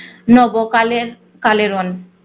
নব কালের কালের।